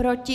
Proti?